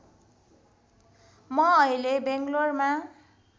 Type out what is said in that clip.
म अहिले बैँगलौरमा